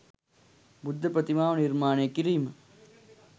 බුද්ධ ප්‍රතිමාව නිර්මාණය කිරීම